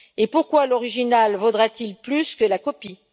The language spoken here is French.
Pourquoi l'original vaudra t il plus que la copie?